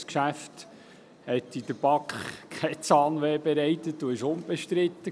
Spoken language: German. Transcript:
Dieses Geschäft hat in der BaK kein Zahnweh verursacht und war unbestritten.